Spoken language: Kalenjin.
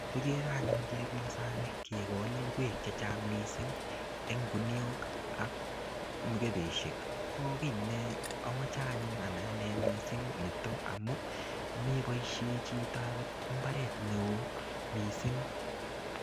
Kikere anyun chepyosani kogol ingwek chechang missing en kuniok ak mukebeishek ko kii ne imoche anyun anai anee missing niton amun meboishen chito ako imbaret neo missing.